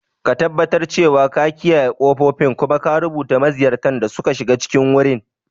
Ka tabbatar cewa ka kiyaye ƙofofin, kuma ka rubuta maziyartan da suka shiga cikin wurin.